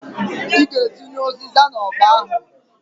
I g'atinye ụzịza n'ọkpa ahụǃ